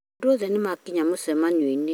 Andũ othe nĩmakĩnya mũcemanio-inĩ